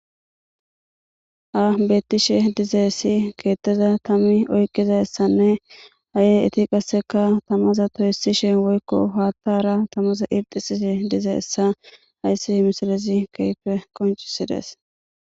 Ha beetishe dizayssi keeththashe tami mizayssanne asati qasse toyssishe dizayssa besses.